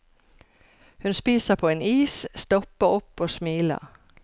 Hun spiser på en is, stopper opp og smiler.